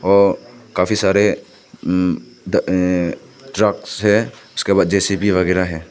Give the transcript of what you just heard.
व काफी सारे उम् द अअ ट्रक्स है उसके बाद जे_सी_बी वगैरा है।